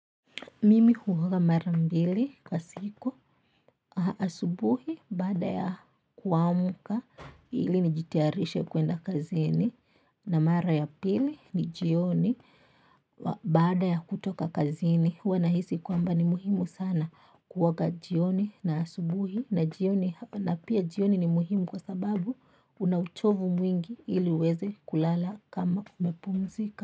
Mimi huoga mara mbili kwa siku asubuhi baada ya kuamka ili nijitayarishe kwenda kazini na mara ya pili ni jioni baada ya kutoka kazini. Huwa nahisi kwamba ni muhimu sana kuoga jioni na asubuhi na jioni na pia jioni ni muhimu kwa sababu una uchovu mwingi ili uweze kulala kama umepumzika.